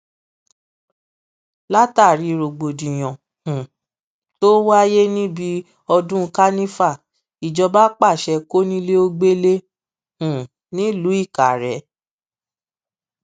látàrí rògbòdìyàn um tó wáyé níbi ọdún kanifa ìjọba pàṣẹ kọńilẹgbẹlẹ um nílùú ìkàrẹ